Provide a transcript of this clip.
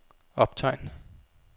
optegn